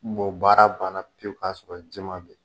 baara ban na pewu ka sɔrɔ jɛman bɛ ye